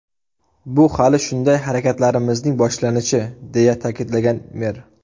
Bu hali shunday harakatlarimizning boshlanishi”, deya ta’kidlagan mer.